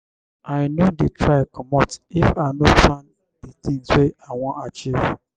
i no dey try comot if i no plan di tins wey i wan achieve.